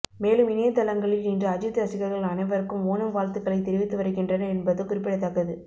மேலும் இணையதளங்களில் இன்று அஜித் ரசிகர்கள் அனைவருக்கும் ஓணம் வாழ்த்துக்களை தெரிவித்து வருகின்றனர் என்பது குறிப்பிடத்தக்கது